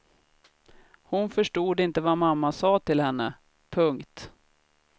Hon förstod inte vad mamma sa till henne. punkt